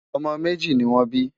ọmọ méjì nì wón bí